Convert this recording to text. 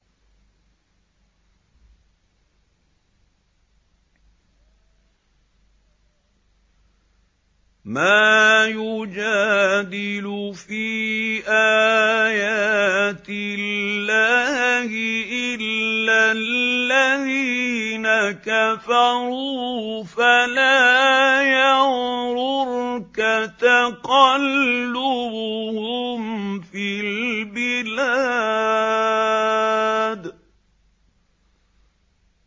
مَا يُجَادِلُ فِي آيَاتِ اللَّهِ إِلَّا الَّذِينَ كَفَرُوا فَلَا يَغْرُرْكَ تَقَلُّبُهُمْ فِي الْبِلَادِ